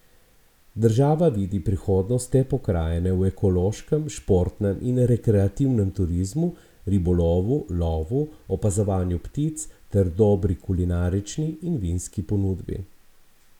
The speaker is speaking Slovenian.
Država vidi prihodnost te pokrajine v ekološkem, športnem in rekreativnem turizmu, ribolovu, lovu, opazovanju ptic ter dobri kulinarični in vinski ponudbi.